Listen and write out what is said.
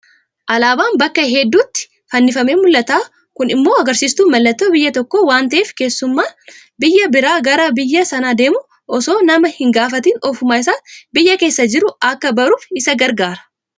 Alaabaan bakka hedduutti fannifamee mul'ata kun immoo agarsiistuu mallattoo biyya tokkoo waanta'eef keessummaan biyya biraa irraa gara biyya sanaa deemu osoo nama hingaafatin ofuma isaatii biyya keessa jiru akka baruuf isa gargaara.